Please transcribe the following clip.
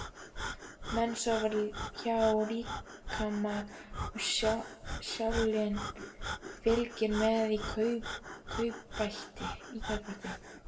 Menn sofa hjá líkama og sálin fylgir með í kaupbæti.